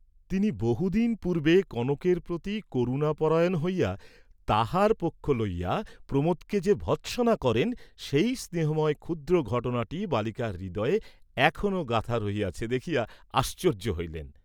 তিনি বহুদিন পূর্বে কনকের প্রতি করুণাপরায়ণ হইয়া তাহার পক্ষ লইয়া প্রমােদকে যে ভর্ৎসনা করেন সেই স্নেহময় ক্ষুদ্র ঘটনাটি বালিকার হৃদয়ে এখনো গাঁথা রহিয়াছে দেখিয়া আশ্চর্য হইলেন।